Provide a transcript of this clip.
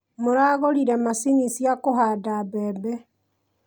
Maragũrire mashini cia kũhanda mbebe